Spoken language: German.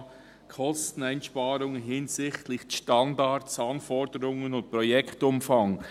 «Kosteneinsparungen hinsichtlich Standards, Anforderungen und Projektumfang».